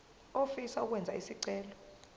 ofisa ukwenza isicelo